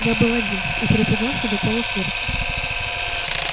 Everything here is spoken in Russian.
я был один и перепугался до полусмерти